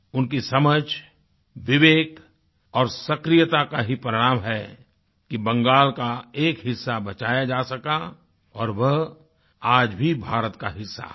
उनकी समझ विवेक और सक्रियता का ही परिणाम है कि बंगाल का एक हिस्सा बचाया जा सका और वह आज भी भारत का हिस्सा है